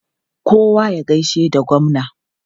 Kowa ya gaishe da gwamna!